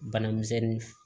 Bana misɛnnin